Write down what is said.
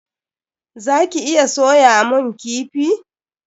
Za ki iya soyamun kifi?